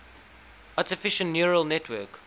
artificial neural network